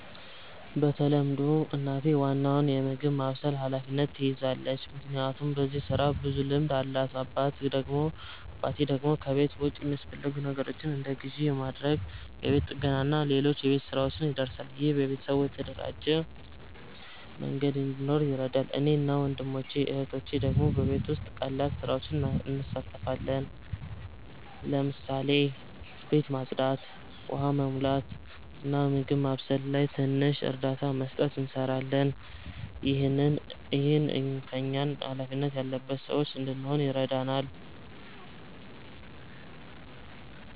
በተለምዶ እናቴ ዋናውን የምግብ ማብሰል ኃላፊነት ትይዛለች፣ ምክንያቱም በዚህ ስራ ብዙ ልምድ አላት። አባቴ ደግሞ ከቤት ውጭ የሚያስፈልጉ ነገሮችን እንደ ግዢ ማድረግ፣ የቤት ጥገና እና ሌሎች የቤት ሥራዎች ይደርሳል። ይህ ቤተሰቡ በተደራጀ መንገድ እንዲኖር ይረዳል። እኔ እና ወንድሞቼ/እህቶቼ ደግሞ በቤት ውስጥ ቀላል ስራዎች እንሳተፋለን። ለምሳሌ ቤት ማጽዳት፣ ውሃ መሙላት፣ እና በምግብ ማብሰል ላይ ትንሽ እርዳታ መስጠት እንሰራለን። ይህ እኛን ሃላፊነት ያለበት ሰዎች እንድንሆን ይረዳናል።